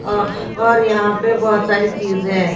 ओ-और यहां पे बहुत सारी चीजें हैं।